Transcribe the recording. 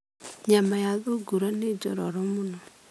Nyama ya thungura nĩ njororo mũno.